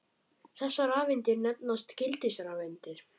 Þessar rafeindir nefnast gildisrafeindir.